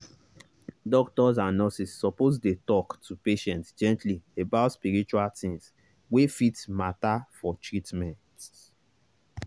doctors and nurses suppose dey talk to patients gently about spiritual things wey fit matter for treatment.